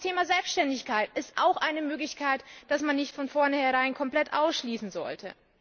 Auch das Thema Selbständigkeit ist eine Möglichkeit, die man nicht von vornherein komplett ausschließen sollte.